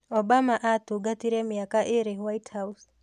Obama aatungatire mĩaka ĩĩrĩ White House.